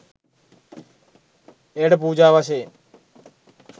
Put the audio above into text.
එයට පූජා වශයෙන්